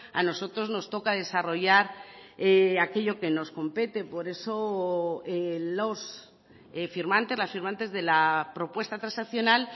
a nosotros nos toca desarrollar aquello que nos compete por eso los firmantes las firmantes de la propuesta transaccional